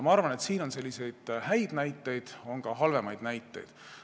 Ma arvan, et siin on häid näiteid, aga on ka halvemaid näiteid.